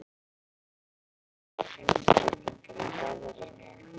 Það verða umbreytingar í veðrinu.